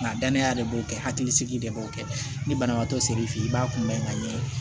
Nka danaya de b'o kɛ hakilisigi de b'o kɛ ni banabaatɔ ser'i fɛ yen i b'a kunbɛn ka ɲɛ